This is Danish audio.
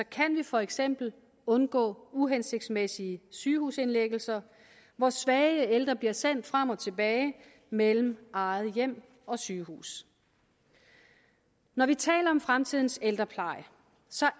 kan vi for eksempel undgå uhensigtsmæssige sygehusindlæggelser hvor svage ældre bliver sendt frem og tilbage mellem eget hjem og sygehus når vi taler om fremtidens ældrepleje